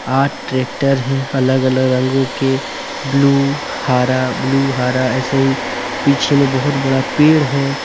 आठ ट्रैक्टर हैं अलग अलग रंगों के ब्लू हरा ब्लू हरा ऐसे ही पीछे में बहुत बड़ा पेड़ हैं।